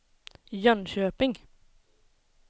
Jönköping